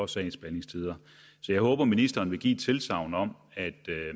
sagsbehandlingstider så jeg håber ministeren vil give tilsagn om at